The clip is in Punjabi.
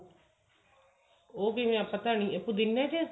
ਉਹ ਕਿਵੇਂ ਆਪਾਂ ਧਨੀਏ ਪੁਦੀਨੇ ਚ